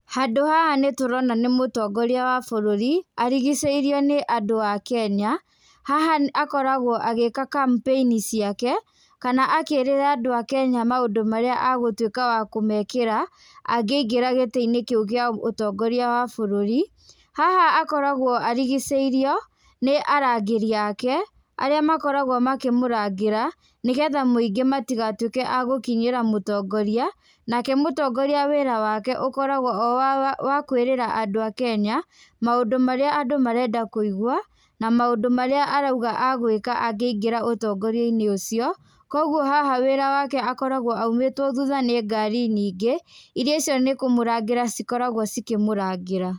Handũ haha nĩ tũrona nĩ mũtongoria wa bũrũri, arigicĩirwo nĩ andũ a Kenya. Haha akoragwo agĩĩka kampĩini ciake, kana akĩrĩra andũ a Kenya maũndũ marĩa agũtuĩka wa kũmekĩra angĩingĩra gĩtĩ-inĩ kĩu kĩa ũtongoria wa bũrũri. Haha akoragwo arigicĩirwo nĩ arangĩri aake arĩa makoragwo makĩmũrangĩra, nĩ getha mũingĩ matigatuĩka a gũkinyĩra mũtongoria, nake mũtongoria wĩra wake ũkoragwo o wa kwĩrĩra andũ a Kenya maũndũ marĩa andũ marenda kũigwa, na maũndũ marĩa arauga agwĩka angĩingĩra ũtongoria-inĩ ũcio, kũguo haha wĩra wake akoragwo aumĩtwo thutha nĩ ngari nyingĩ, irĩa cio nĩ kũmũrangĩra cikoragwo cikĩmũrangĩra.